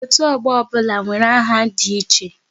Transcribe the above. Otu ọgbọ ọbụla nwere aha dị iche